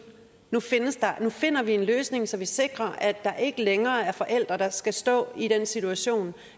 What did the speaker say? nu finder vi en løsning så vi sikrer at der ikke længere er forældre der skal stå i den situation